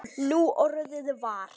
Núorðið var